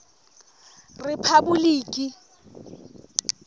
rephaboliki